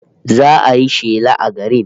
Za'a yi shela a garin